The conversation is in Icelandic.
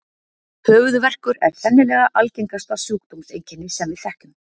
Höfuðverkur er sennilega algengasta sjúkdómseinkenni sem við þekkjum.